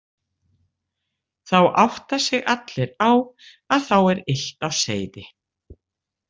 Þá átta sig allir á að þá er illt á seyði.